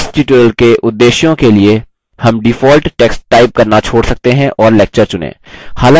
इस tutorial के उद्देश्यों के लिए हम default text टाइप करना छोड़ सकते हैं और lecture चुनें